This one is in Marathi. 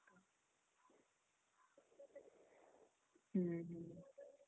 हम्म हम्म.